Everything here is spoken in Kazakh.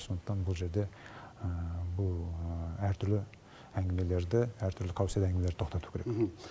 сондықтан бұл жерде бұл әртүрлі әңгімелерді әртүрлі қауесет әңгімелерді тоқтату керек